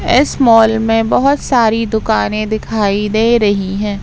इस मॉल में बहुत सारी दुकानें दिखाई दे रही हैं।